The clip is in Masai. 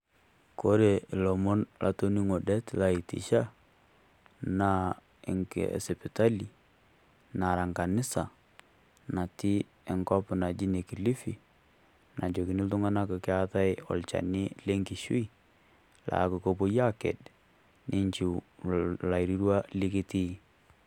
Kore lomon latoning'o det laitisha, naa enkeeya e sipitali nara kanisa natii enkop naji ne Kilifi, najoki iltung'ana keataai olchani le nkishu, neaku kewoi aaked, ninchu lairirua lekitii.